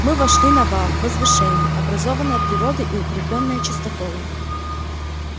мы вошли на вал возвышение образованное природой и укреплённое частоколом